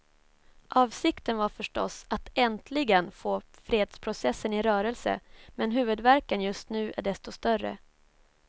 Avsikten var förstås att äntligen få fredsprocessen i rörelse, men huvudvärken just nu är desto större.